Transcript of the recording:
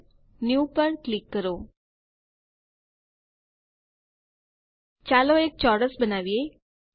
file જીટીજીટી new પર click કરો ચાલો એક ચોરસ બનાવીએ